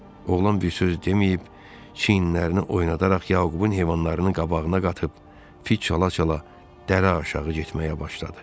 Oğlan bir söz deməyib, çiyinlərini oynadaraq Yaqubun heyvanlarını qabağına qatıb, fıç çala-çala dərə aşağı getməyə başladı.